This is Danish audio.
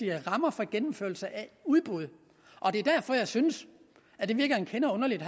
rammer for gennemførelse af udbud det er derfor jeg synes at det virker en kende underligt at